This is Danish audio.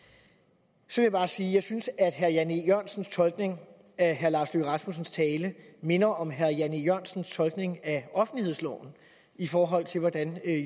så vil jeg bare sige at jeg synes at herre jan e jørgensens tolkning af herre lars løkke rasmussens tale minder om herre jan e jørgensens tolkning af offentlighedsloven i forhold til hvordan